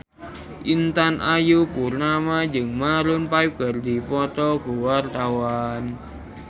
Intan Ayu Purnama jeung Maroon 5 keur dipoto ku wartawan